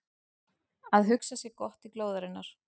Að hugsa sér gott til glóðarinnar